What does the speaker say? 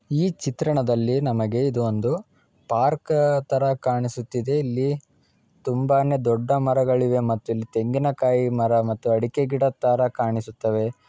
ಈ ಚಿತ್ರಣದಲ್ಲಿ ನಮಗೆ ಇದು ಒಂದು ಪಾರ್ಕ್ ತರ ಕಾಣಿಸುತ್ತಿದೆ ಇಲ್ಲಿ ತುಂಬಾನೆ ದೊಡ್ಡ ಮರಗಳಿವೆ ಮತ್ತೆ ಇಲ್ಲಿ ತೆಂಗಿನ ಕಾಯಿ ಮರ ಮತ್ತೆ ಅಡಕೆ ಗಿಡ ತರ ಕಾಣಿಸುತ್ತವೆ.